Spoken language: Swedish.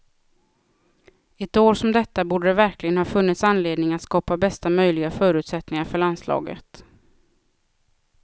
Ett år som detta borde det verkligen ha funnits anledning att skapa bästa möjliga förutsättningar för landslaget.